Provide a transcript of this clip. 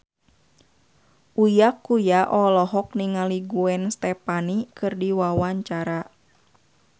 Uya Kuya olohok ningali Gwen Stefani keur diwawancara